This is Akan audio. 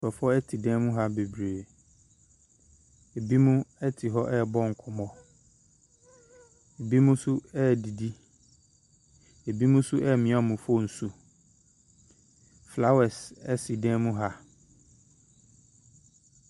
Nkurɔfoɔ te dan mu ha babree. Ebinom te hɔ rebɔ nkɔmmɔ, ebinom nso redidi. Ebinom nso remia wɔn phone so. Flowers si dan mu ha.